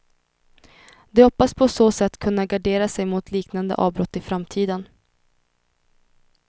De hoppas på så sätt kunna gardera sig mot liknande avbrott i framtiden.